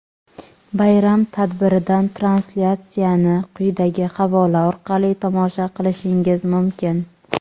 Bayram tadbiridan translyatsiyani quyidagi havola orqali tomosha qilishingiz mumkin:.